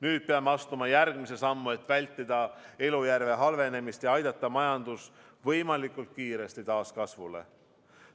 Nüüd peame astuma järgmise sammu, et vältida elujärje halvenemist ja aidata majandus võimalikult kiiresti taas kasvule.